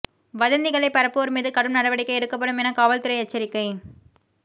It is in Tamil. வதந்திகளை பரப்புவோர் மீது கடும் நடவடிக்கை எடுக்கப்படும் என காவல்துறை எச்சரிக்கை